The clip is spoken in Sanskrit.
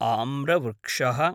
आम्रवृक्षः